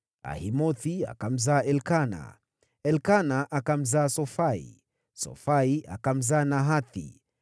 Ahimothi akamzaa Elikana, Elikana akamzaa Sofai, Sofai akamzaa Nahathi,